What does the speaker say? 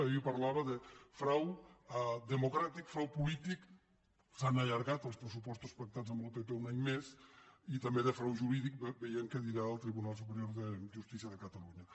jo ahir parlava de frau democràtic frau polític s’han allargat els pressupostos pactats amb el pp un any més i també de frau jurídic vejam què dirà el tribunal superior de justícia de catalunya